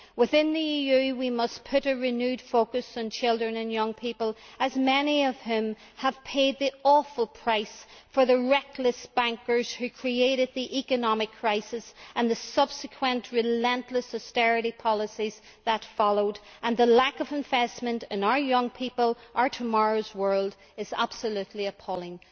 Within the EU we must put a renewed focus on children and young people, as many of them have paid the awful price for the reckless bankers who created the economic crisis and the subsequent relentless austerity policies that followed, and the lack of investment in our young people, our tomorrow's world, is absolutely appalling.